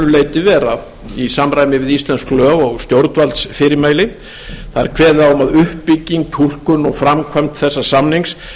leyti vera í samræmi við íslensk lög og stjórnvaldsfyrirmæli kveðið er á um það að uppbygging túlkun og framkvæmd þess samnings